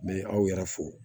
N bɛ aw yɛrɛ fo